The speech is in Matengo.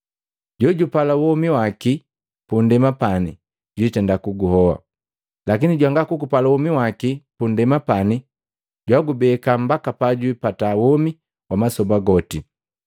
Jojupala womi waki punndema pani jwitenda kuguhoa, lakini jwanga kugupala womi waki punndema pani, jwagubeka mbaka pajwipata womi wa masoba goti.